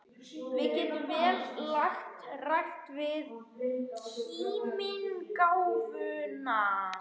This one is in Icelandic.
Við getum vel lagt rækt við kímnigáfuna.